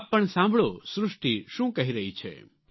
આપ પણ સાંભળો સૃષ્ટી શું કહી રહી છે